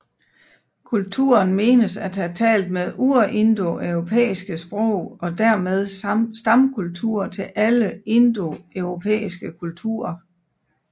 Kulturen menes at have talt det urindoeuropæiske sprog og dermed stamkultur til alle andre indoeuropæiske kulturer